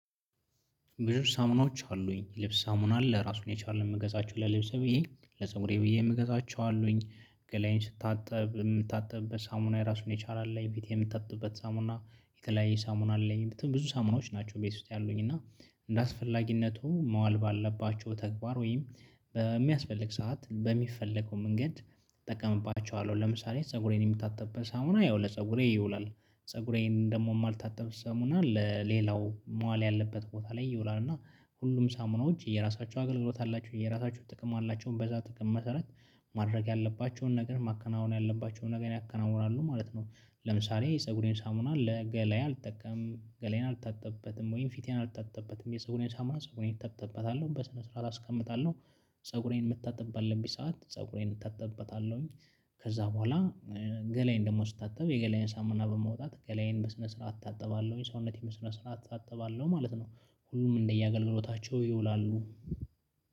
ብዙ ሳሙናዎች አሉኝ ልብስ ሳሙና አራሱን የቻለ መገዛቸው ለልብስ ብዬ ለፀጉሬ ብዬ የምገዛቸው አሉኝ ገላዬን ስታጠብ የምታጠብበት ሳሙና የራሱን የቻለ አለ ቤት የምትጠጥበት ሳሙና የተለያየ ሳሙና አለኝ ብዙ ሳሙናዎች ናቸው ቤት ውስጥ ያሉኝ እና እንደ አስፈላጊነቱ መዋል ባልባቸው ተግባር ወይም በሚያስፈልግ ሰዓት በሚፈለገው መንገድ ተጠቀምባቸዋለሁ ለምሳሌ ፀጉሬን የምታጠብበት ሳሙና ያው ለፀጉሬ ይውላል ፀጉሬን ደግሞ የማልታጠብ ሳሙና ለሌላው መዋል ያለበት ቦታ ላይ ይውላል እና ሁሉም ሳሙናዎች የራሳቸው አገልግሎት አላቸው የራሳቸው ጥቅም አላቸው በዛ ጥቅም መሰረት ማድረግ ያለባቸውን ነገር ማከናወን ያለባቸውን ነገር አከናውናሉ ማለት ነው። ለምሳሌ የፀጉሬን ሳሙና ለገላዬ አልጠቀም ገላዬን አልታጠብበትም ወይም ፊቴን አልታጠበትም የፀጉሬን ሳሙና ፀጉሬን እታጠብበታለው በስነ ስርዓት አስቀምጣለሁ ፀጉሬን የምታጥብበት ባለብኝ ሰዓት ፀጉሬን እጠጥበታለሁኝ ከዛ ቦኋላ ገላዬን ደግሞ ስታጠብ የገላዬን ሳሙና በመውጣት ገላዬን በስነ ስርዓት አታጥባለሁኝ ሰውነቴን በስነ ስርዓት አታጥባለው ማለት ነው። ሁሉም እንደየአገልግሎታቸው ይውላሉ።